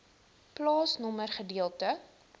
plaasnommer gedeelte